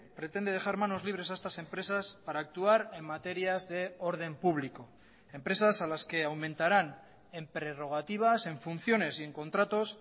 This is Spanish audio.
pretende dejar manos libres a estas empresas para actuar en materias de orden público empresas a las que aumentarán en prerrogativas en funciones y en contratos